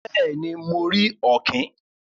Béèni, mo rí òkìn